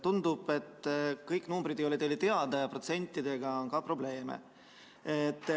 Tundub, et kõik numbrid ei ole teile teada ja ka protsentidega on probleeme.